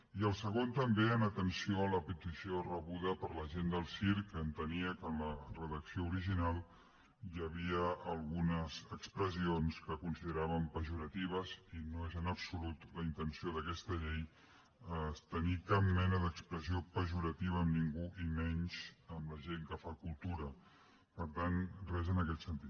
i el segon també en atenció a la petició rebuda per la gent del circ que entenia que en la redacció original hi havia algunes expressions que consideraven pejoratives i no és en absolut la intenció d’aquesta llei tenir cap mena d’expressió pejorativa amb ningú i menys amb la gent que fa cultura per tant gens en aquest sentit